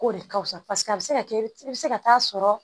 K'o de ka wusa paseke a be se ka kɛ i be se ka taa sɔrɔ